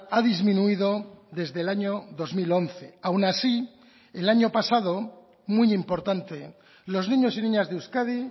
ha disminuido desde el año dos mil once aun así el año pasado muy importante los niños y niñas de euskadi